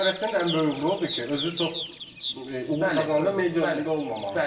Elə idarəçinin ən böyük uğuru odur ki, özü çox uğur qazanda medianın önündə olmamağı.